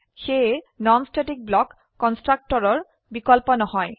সেয়ে non static block কন্সট্ৰকটৰৰ বিকল্প নহয়